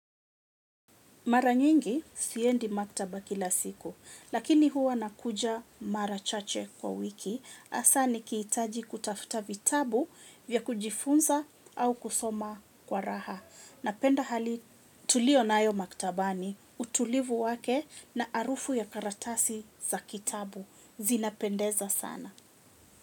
Mara nyingi siendi maktaba kila siku, lakini huwa nakuja mara chache kwa wiki, hasa nikihitaji kutafuta vitabu vya kujifunza au kusoma kwa raha. Napenda hali tuliyo nayo maktabani utulivu wake na harufu ya karatasi za kitabu zinapendeza sana.